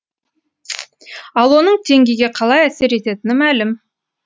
ал оның теңгеге қалай әсер ететіні мәлім